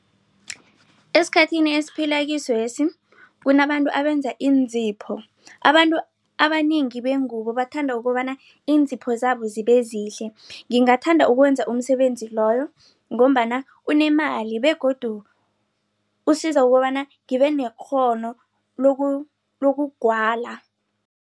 Esikhathini esiphilakiswesi kunabantu abenza iinzipho abantu abanengi bengubo bathanda kukobana iinzipho zabo zibezihle ngingathanda ukwenza umsebenzi loyo. Ngombana unemali begodu usiza ukobana ngibe nekghono lokugwala.